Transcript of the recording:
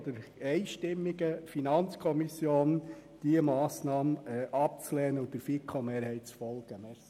Ich bitte Sie, nicht der grossen Mehrheit und der FiKo-Mehrheit zu folgen.